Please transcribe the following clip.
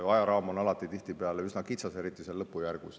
Ajaraam on tihtipeale üsna kitsas, eriti seal lõpujärgus.